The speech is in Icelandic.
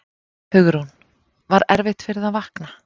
Hugrún: Var erfitt fyrir þig að vakna?